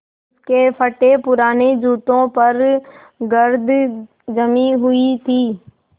उसके फटेपुराने जूतों पर गर्द जमी हुई थी